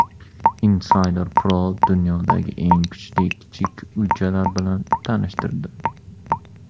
Insider Pro dunyodagi eng chiroyli kichik uychalar bilan tanishtirdi .